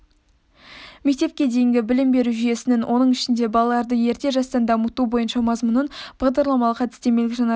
мектепке дейінгі білім беру жүйесінің оның ішінде балаларды ерте жастан дамыту бойынша мазмұнын бағдарламалық-әдістемелік жаңарту